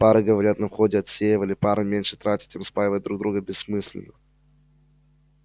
пары говорят на входе отсеивали пары меньше тратят им спаивать друг друга бессмысленно